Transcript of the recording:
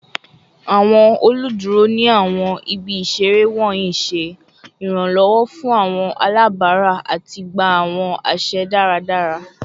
Awọn oluduro ni awọn ibi isere wọnyi ṣe iranlọwọ fun awọn alabara ati gba awọn aṣẹ daradara